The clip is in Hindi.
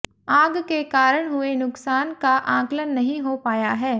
आग के कारण हुए नुकसान का आकलन नहीं हो पाया है